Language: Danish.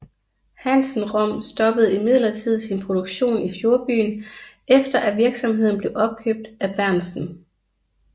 Hansen Rom stoppede imidlertid sin produktion i fjordbyen efter at virksomheden blev opkøbt af Berentzen